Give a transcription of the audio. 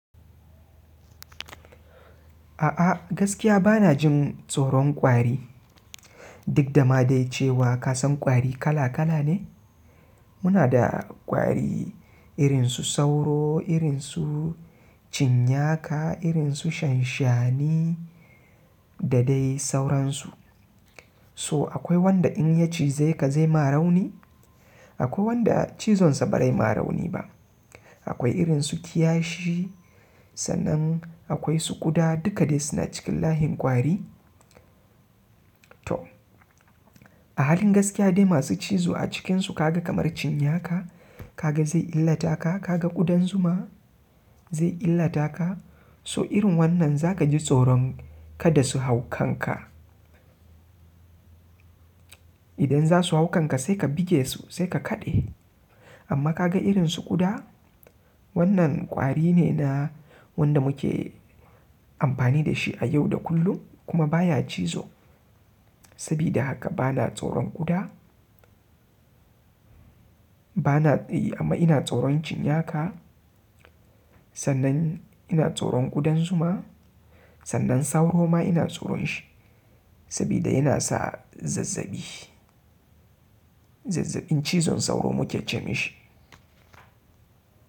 A'a gaskiya bana jin tsoron ƙwari. Duk da ma dai cewa kasan ƙwari kala kala ne. Muna da ƙwari irin su sauro, irin su cinnaka, irin su shanshani da dai sauransu. So akwai wanda in ya cize ka zai ma rauni. Akwai wanda cizonsa bazai ma rauni ba akwai irin su kiyashi, sannan akwai su ƙuda duka dai suna cikin layin ƙwari. To a halin gaskiya dai masu cizo a cikinsu ka ga kamar cinyaka, ka ga zai illata ka, ka ga ƙudan zuma zai illata ka. So irin wannan za ka ji tsoron kada su hau kanka. Idan za su hau kanka sai ka buge su sai ka kaɗe. Amma ka ga irin su ƙuda wannan kwari ne na wanda muke amfani da shi a yau da kullum kuma baya cizo. Sabida haka bana tsoron ƙuda. Bana tsayi amma ina tsoron cinnaka. Sannan ina tsoron ƙudan zuma. Sannan sauro ma ina tsoron shi sabida yana sa zazzabi. Zazzabin cizon sauro muke ce mai shi.